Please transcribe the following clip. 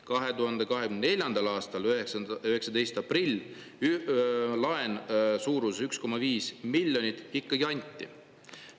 2024. aasta 19. aprillil laen suuruses 1,5 miljonit ikkagi anti.